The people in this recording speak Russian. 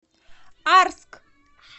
арск